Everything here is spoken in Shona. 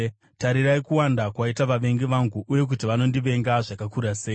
Tarirai kuwanda kwaita vavengi vangu, uye kuti vanondivenga zvakakura sei!